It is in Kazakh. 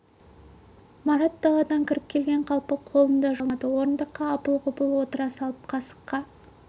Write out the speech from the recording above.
марат даладан кіріп келген қалпы қолын да жумады бас киімін де алмады орындыққа апыл-ғұпыл отыра салып қасыққа